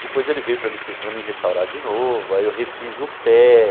Depois ele veio para me se para me restaurar de novo, aí eu refiz o pé.